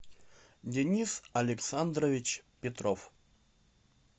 денис александрович петров